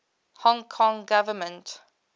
hong kong government